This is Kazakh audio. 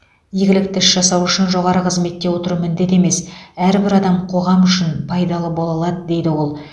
игілікті іс жасау үшін жоғары қызметте отыру міндет емес әрбір адам қоғам үшін пайдалы бола алады дейді ол